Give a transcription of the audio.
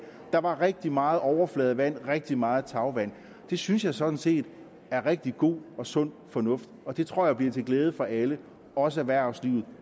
der var rigtig meget overfladevand rigtig meget tagvand det synes jeg sådan set er rigtig god og sund fornuft og det tror jeg bliver til glæde for alle også erhvervslivet